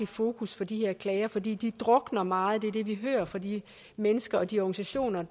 fokus på de her klager fordi de drukner meget det vi hører fra de mennesker og de organisationer